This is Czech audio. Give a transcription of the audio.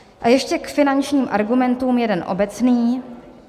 A ještě k finančním argumentům jeden obecný.